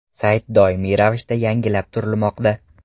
Sayt doimiy ravishda yangilab turilmoqda.